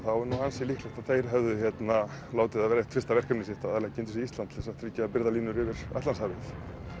er ansi líklegt að þeir hefðu látið vera eitt fyrsta verkefni sitt að leggja undir sig Ísland til þess að tryggja birgðalínur yfir Atlantshafið